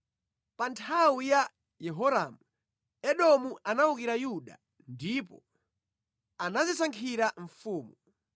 Pa nthawi ya Yehoramu, Edomu anawukira Yuda ndipo anadzisankhira mfumu.